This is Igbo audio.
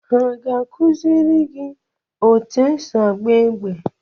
Ha ga-akụziri gị otú esi agba egbe?